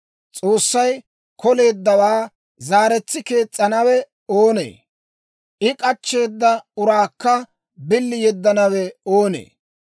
S'oossay k'oleeddawaa zaaretsi kees's'anawe oonee? I k'achcheeda uraakka billi yeddanawe oonee?